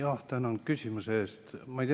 Tänan küsimuse eest!